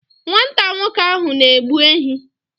Nwata nwoke ahụ na-egbu ehi.